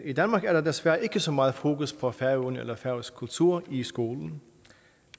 i danmark er der desværre ikke så meget fokus på færøerne eller færøsk kultur i skolen